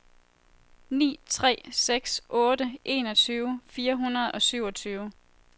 ni tre seks otte enogtyve fire hundrede og syvogtyve